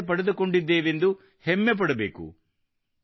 ಕುಶಲತೆ ಪಡೆದುಕೊಂಡಿದ್ದೇವೆಂದು ಹೆಮ್ಮೆ ಪಡಬೇಕು